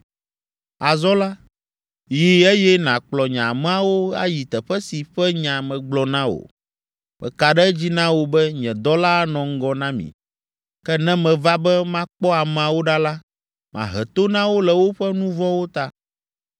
Azɔ la, yi eye nàkplɔ nye ameawo ayi teƒe si ƒe nya megblɔ na wò. Meka ɖe edzi na wò be nye Dɔla anɔ ŋgɔ na mi. Ke ne meva be makpɔ ameawo ɖa la, mahe to na wo le woƒe nu vɔ̃wo ta.”